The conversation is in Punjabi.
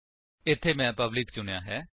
ਇੱਥੇ ਮੈਂ ਪਬਲਿਕ ਚੁਣਿਆ ਹੈ